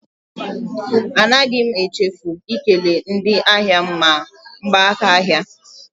Anaghị m echefu ikele ndị ahịa m ma gbaa m aka ahịa.